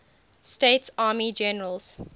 states army generals